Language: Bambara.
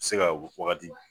I be ka wagati